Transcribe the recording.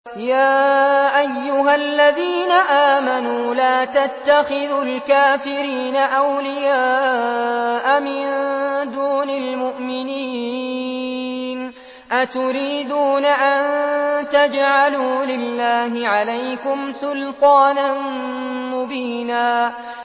يَا أَيُّهَا الَّذِينَ آمَنُوا لَا تَتَّخِذُوا الْكَافِرِينَ أَوْلِيَاءَ مِن دُونِ الْمُؤْمِنِينَ ۚ أَتُرِيدُونَ أَن تَجْعَلُوا لِلَّهِ عَلَيْكُمْ سُلْطَانًا مُّبِينًا